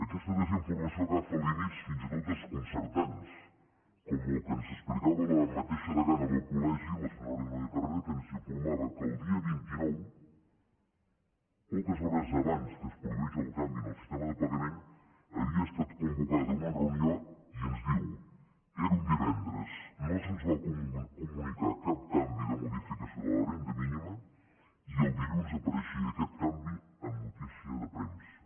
aquesta desinformació agafa límits fins i tot desconcertants com el que ens explicava la mateixa degana del col·legi la senyora núria carrera que ens informava que el dia vint nou poques hores abans que es produís el canvi en el sistema de pagament havia estat convocada una reunió i ens diu era un divendres no se’ns va comunicar cap canvi de modificació de la renda mínima i el dilluns apareixia aquest canvi en notícia de premsa